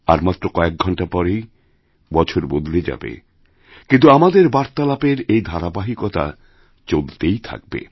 আর মাত্র কয়েক ঘণ্টা পরেইবছর বদলে যাবে কিন্তু আমাদের বার্তালাপের এই ধারাবাহিকতা চলতেই থাকবে